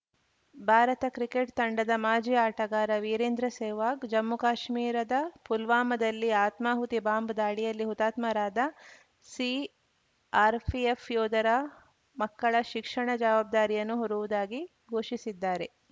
Bharat cricket ತಂಡದ ಮಾಜಿ ಆಟಗಾರ ವೀರೇಂದ್ರ ಸೆಹ್ವಾಗ್‌ ಜಮ್ಮುಕಾಶ್ಮೀರದ ಪುಲ್ವಾಮದಲ್ಲಿ ಆತ್ಮಾಹುತಿ ಬಾಂಬ್‌ ದಾಳಿಯಲ್ಲಿ ಹುತಾತ್ಮರಾದ ಸಿಆರ್‌ಪಿಎಫ್‌ ಯೋಧರ ಮಕ್ಕಳ ಶಿಕ್ಷಣ ಜವಾಬ್ದಾರಿಯನ್ನು ಹೊರುವುದಾಗಿ ಘೋಷಿಸಿದ್ದಾರೆ